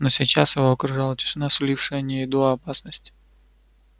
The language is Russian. но сейчас его окружала тишина сулившая не еду а опасность